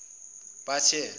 bathe